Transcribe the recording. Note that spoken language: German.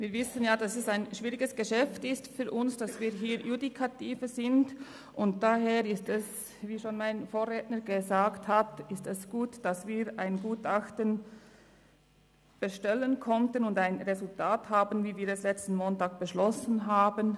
Wir wissen, es ist ein schwieriges Geschäft für uns alle, da wir Judikative sind, und daher ist es – wie schon mein Vorredner gesagt hat – gut, dass wir ein Gutachten bestellen konnten und nun ein Resultat vorliegen haben, so wie wir es letzten Montag beschlossen hatten.